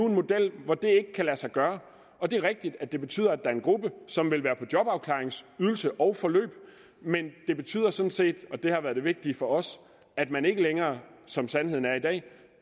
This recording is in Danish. en model hvor det kan lade sig gøre og det er rigtigt at det betyder at der er en gruppe som vil være på jobafklaringsydelse og forløb men det betyder sådan set og det har været det vigtige for os at man ikke længere som sandheden er i dag